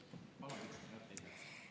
Palun, üks minut lisaks!